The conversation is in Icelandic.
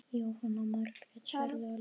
Jóhanna Margrét: Sérðu alveg?